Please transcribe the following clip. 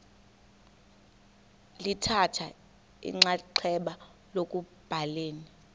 lithatha inxaxheba ekubhaleni